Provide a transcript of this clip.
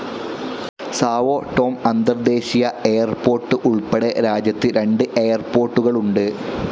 Sao Tome അന്തർദേശീയ airport ഉൾപ്പെടെ രാജ്യത്ത് രണ്ട് എയർപോർട്ടുകളുണ്ട്.